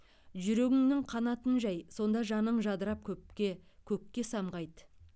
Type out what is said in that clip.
жүрегіңнің қанатын жай сонда жаның жадырап көпке көкке самғайды